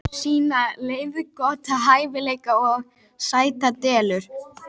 Einnig falla nokkrir menn árlega fyrir þessum röndóttu risum í Síberíu og Indónesíu.